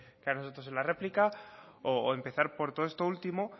a nosotros en la réplicas o empezar por todo esto último